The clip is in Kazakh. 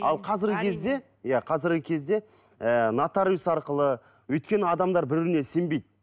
ал қазіргі кезде иә қазіргі кезде ыыы нотариус арқылы өйткені адамдар бір біріне сенбейді